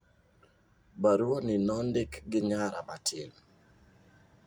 Baruani nondik gi nyara matin.